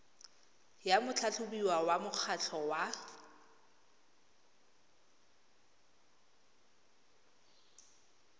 ya motlhatlhobiwa wa mokgatlho wa